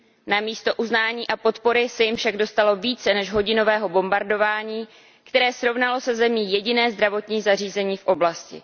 Namísto uznání a podpory se jim však dostalo více než hodinového bombardování, které srovnalo se zemí jediné zdravotní zařízení v oblasti.